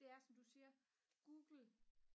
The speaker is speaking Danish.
det er som du siger google